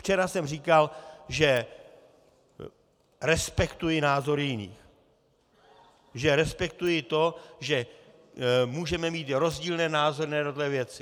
Včera jsem říkal, že respektuji názor jiných, že respektuji to, že můžeme mít rozdílné názory na jednotlivé věci.